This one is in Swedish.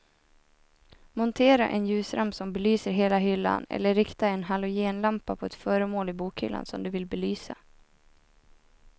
Montera en ljusramp som belyser hela hyllan eller rikta en halogenlampa på ett föremål i bokhyllan som du vill belysa.